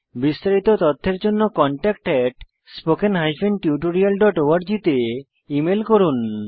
বিস্তারিত তথ্যের জন্য contactspoken tutorialorg তে মেল করুন